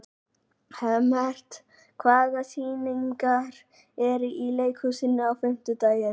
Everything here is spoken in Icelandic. Hemmert, hvaða sýningar eru í leikhúsinu á fimmtudaginn?